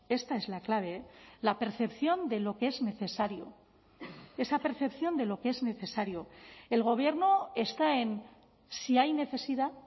esta es la clave la percepción de lo que es necesario esa percepción de lo que es necesario el gobierno está en si hay necesidad